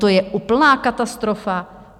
To je úplná katastrofa!